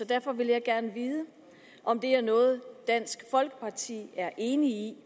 derfor vil jeg gerne vide om det er noget dansk folkeparti er enig